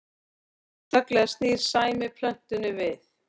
Snögglega snýr Sæmi plötunni við